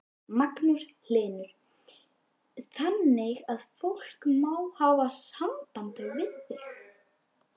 Magnús Hlynur: Þannig að fólk má hafa samband við þig?